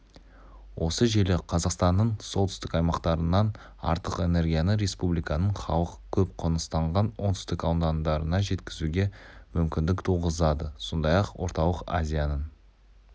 осы желі қазақстанның солтүстік аймақтарынан артық энергияны республиканың халық көп қоныстанған оңтүстік аудандарына жеткізуге мүмкіндік туғызады сондай-ақ орталық азияның